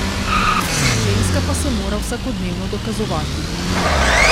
Ženska pa se mora vsakodnevno dokazovati.